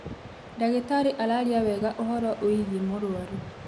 Ndagĩtarĩ araaria wega uhoro ũgiĩ mũrwaru